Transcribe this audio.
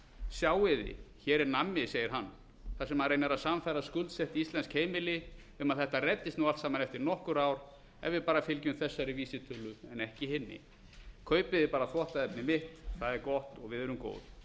sjáið þið hér er nammi segir hann þar sem hann reynir að sannfæra skuldsett íslensk heimili um að þetta reddist nú allt saman eftir nokkur ár ef við bara fylgjum þessari vísitölu en ekki hinni kaupið þið bara þvottaefnið mitt það er gott og við erum